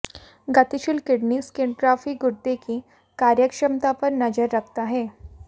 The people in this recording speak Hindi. गतिशील किडनी स्किंटिग्राफी गुर्दे की कार्यक्षमता पर नज़र रखता है